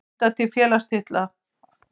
Skylda til félagsslita.